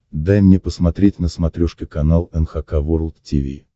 дай мне посмотреть на смотрешке канал эн эйч кей волд ти ви